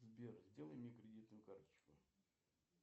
сбер сделай мне кредитную карточку